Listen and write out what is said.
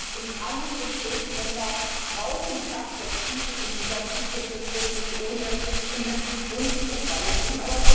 Griechenland und andere Schuldenländer brauchen Perspektiven in dieser Krise, und das wird nicht ohne Investitionsprogramme gehen.